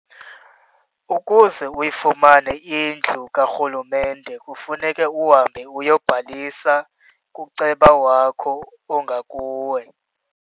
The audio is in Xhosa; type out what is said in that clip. Ukuze uyifumane indlu karhulumente kufuneke uhambe uyobhalisa kuceba wakho ongakuwe.